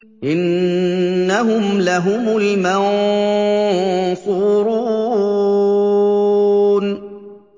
إِنَّهُمْ لَهُمُ الْمَنصُورُونَ